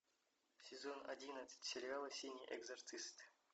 сезон одиннадцать сериала синий экзорцист